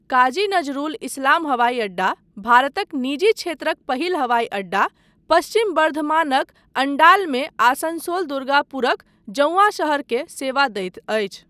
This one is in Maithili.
काजी नजरूल इस्लाम हवाई अड्डा, भारतक निजी क्षेत्रक पहिल हवाई अड्डा, पश्चिम बर्धमानक अण्डालमे आसनसोल दुर्गापुरक जौंआँ शहरकेँ सेवा दैत अछि।